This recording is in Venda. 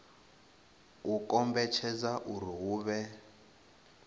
u kombetshedza uri hu vhe